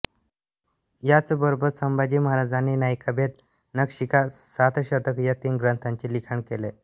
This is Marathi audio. याचबरोबर संभाजी महाराजांनी नायिकाभेद नखशिखा सातशतक या तीन ग्रंथांचे लिखाण केले